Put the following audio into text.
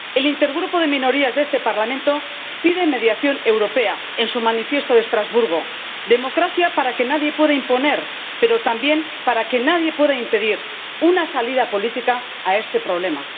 El Intergrupo de Minorías de este Parlamento pide mediación europea en su Manifiesto de Estrasburgo, democracia para que nadie pueda imponer, pero también para que nadie pueda impedir una salida política a este problema.